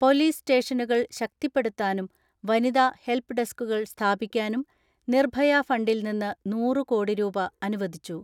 Police സ്റ്റേഷനുകൾ ശക്തിപ്പെടുത്താനും വനിതാ ഹെൽപ്പ് ഡെസ്ക്കുകൾ സ്ഥാപിക്കാനും നിർഭയ ഫണ്ടിൽ നിന്ന് നൂറ് കോടി രൂപ അനുവദിച്ചു.